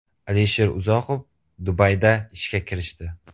Alisher Uzoqov Dubayda ishga kirishdi.